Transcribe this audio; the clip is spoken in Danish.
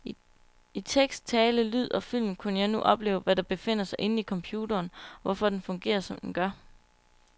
I tekst, tale, lyd og film kunne jeg nu opleve, hvad der befinder sig inden i computeren, og hvorfor den fungerer som den gør.